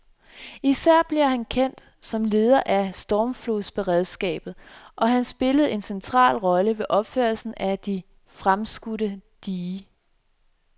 Især blev han kendt som leder af stormflodsberedskabet, og han spillede en central rolle ved opførelsen af det fremskudte dige.